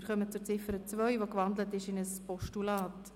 Wir kommen zur Ziffer 2, die in ein Postulat umgewandelt worden ist.